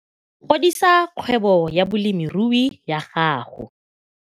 Godisa kgwebo ya bolemirui ya gago